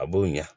A b'o ɲɛ